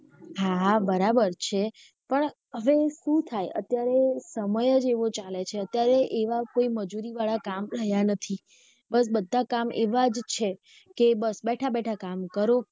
હા બરાબર છે પણ હવે શુ થાય અત્યારે સમય જ એવો ચાલે છે અત્યારે એવા કોઈ મજૂરી વાળા કામ રહ્યા નથી બધા કામ એવા જ છે કે બસ બેઠા- બેઠા કામ કરો.